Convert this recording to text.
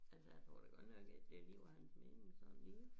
Altså jeg tror da godt nok ikke det lige var hans mening sådan lige